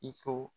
I ko